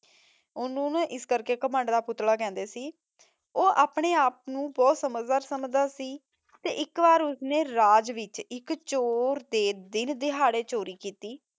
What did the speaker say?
ਓਨੁ ਨਾ ਏਸ ਕਰ ਕੇ ਘਮੰਡ ਦਾ ਪੁਤਲਾ ਕੇਹ੍ਨ੍ਡੇ ਸੀ ਊ ਅਪਨੇ ਆਪ ਨੂ ਬੋਹਤ ਸਮਝਦਾਰ ਸਮਝਦਾ ਸੀ ਤੇ ਏਇਕ ਵਾਰ ਉਸਨੇ ਰਾਜ ਵਿਚ ਏਇਕ ਚੋਰ ਦੇ ਦਿਨ ਦੇਹਰੀ ਚੋਰੀ ਕੀਤੀ